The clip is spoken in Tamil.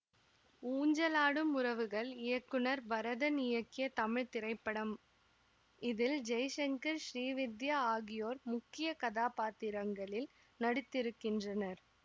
ஊஞ்சலாடும் உறவுகள் இயக்குனர் பரதன் இயக்கிய தமிழ் திரைப்படம் இதில் ஜெய்சங்கர் ஸ்ரீவித்யா ஆகியோர் முக்கிய கதாபாத்திரங்களில் நடித்திருக்கின்றனர்